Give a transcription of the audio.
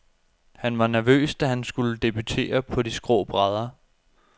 Han var nervøs, da han skulle debutere på de skrå brædder.